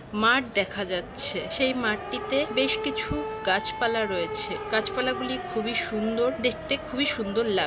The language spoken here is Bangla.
মাঠ দেখা যাচ্ছে। সেই মাঠটিতে বেশ কিছু গাছ পালা রয়েছে। গাছ পালা গুলি খুবই সুন্দর দেখতে খুবই সুন্দর লাগ--